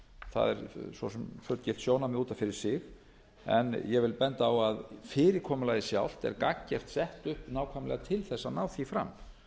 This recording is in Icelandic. það er svo sem fullgilt sjónarmið út af fyrir sig en ég vil benda á að fyrirkomulagið sjálft er gagngert sett upp nákvæmlega til þess að ná því fram